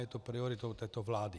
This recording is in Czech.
Je to prioritou této vlády.